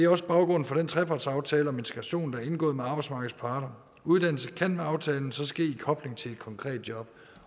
også baggrunden for den trepartsaftale om integration der blev indgået med arbejdsmarkedets parter uddannelse kan med aftalen så ske i en kobling til et konkret job